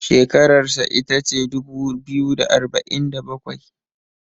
shekararsa ita ce dubu biyu da arba'in da bakwai